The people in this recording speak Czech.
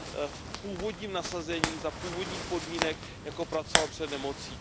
v původním nasazení za původních podmínek, jako pracoval před nemocí.